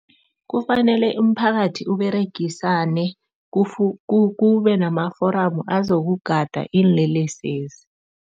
Kufanele umphakathi uberegisane kube namaforamu azokugada iinlelesezi.